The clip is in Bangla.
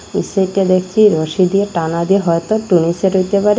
এই সাইডে দেখছি রশি দিয়ে টানা দিয়ে হয়তো টুনি শেড হইতে পারে।